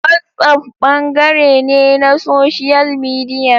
WhatsApp bangare ne na Social Media.